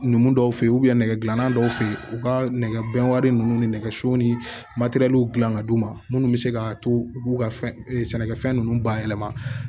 Ninnu dɔw fe yen nɛgɛgilan dɔw fe yen u ka nɛgɛbɛn wari ninnu ni nɛgɛso ni dilan ka d'u ma minnu bɛ se ka to u k'u ka fɛn sɛnɛkɛfɛn ninnu bayɛlɛma